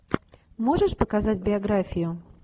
можешь показать биографию